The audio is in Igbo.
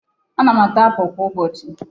Ana m ata apul kwa ụbọchị.